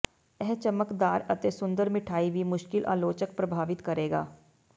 ਇਹ ਚਮਕਦਾਰ ਅਤੇ ਸੁੰਦਰ ਮਿਠਆਈ ਵੀ ਮੁਸ਼ਕਿਲ ਆਲੋਚਕ ਪ੍ਰਭਾਵਿਤ ਕਰੇਗਾ